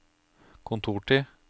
kontortid